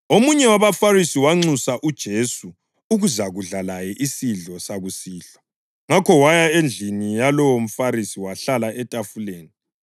Omunye wabaFarisi wanxusa uJesu ukuzakudla laye isidlo sakusihlwa, ngakho waya endlini yalowo mFarisi wahlala etafuleni.